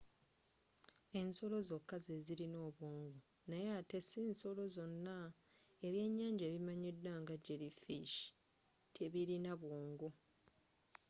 ensolo zokka zezilina obwongo naye ate sinsolo zonna; ebyenyanja ebimanyidwa nga jelly fish tebilina bwongo